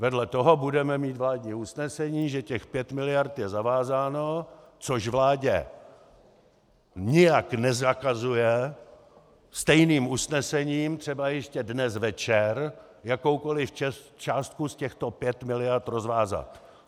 Vedle toho budeme mít vládní usnesení, že těch pět miliard je zavázáno, což vládě nijak nezakazuje stejným usnesením třeba ještě dnes večer jakoukoliv částku z těchto pěti miliard rozvázat.